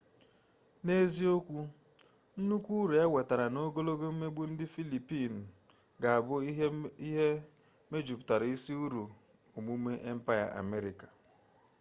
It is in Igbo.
n'eziokwu nnukwu uru e nwetara na ogologo mmegbu ndị mba filipiinụ ga-abụ ihe mejuputara isi uru omume empaya amerịka